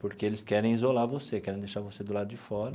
Porque eles querem isolar você, querem deixar você do lado de fora.